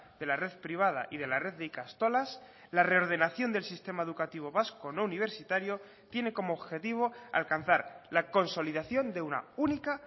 de la red privada y de la red de ikastolas la reordenación del sistema educativo vasco no universitario tiene como objetivo alcanzar la consolidación de una única